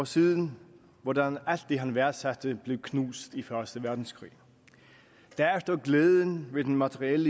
siden hvordan alt det han værdsætte blev knust i første verdenskrig derefter glæden ved den materielle